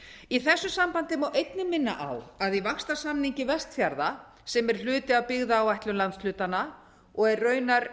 í þessu sambandi má einnig minna á að í vaxtarsamningi vestfjarða sem er hluti af byggðaáætlun landshlutanna og er raunar